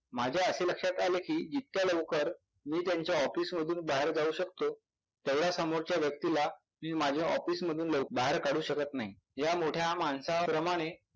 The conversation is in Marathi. माझ्या असे लक्षात आले कि जितक्या लवकर मी त्यांच्या office मधून बाहेर जाऊ शकतो तेव्हड्या समोरच्या व्यक्तीला मी माझ्या office मधून लव बाहेर काढू शकत नाही.